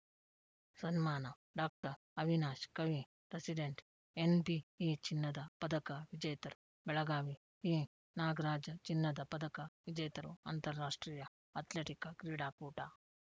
ಸನ್ಮಾನ ಡಾಕ್ಟರ್ ಅವಿನಾಶ್‌ ಕವಿ president NBE ಚಿನ್ನದ ಪದಕ ವಿಜೇತರು ಬೆಳಗಾವಿ ಈನಾಗರಾಜ ಚಿನ್ನದ ಪದಕ ವಿಜೇತರು ಅಂತಾರಾಷ್ಟ್ರೀಯ ಅಥ್ಲೆಟಿಕ್‌ ಕ್ರೀಡಾಕೂಟ